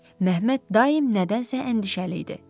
Məhəmməd daim nədənsə əndişəli idi.